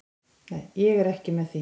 Ég er ekki með því.